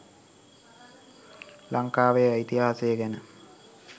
ලංකාවේ ඉතිහාසය ගැන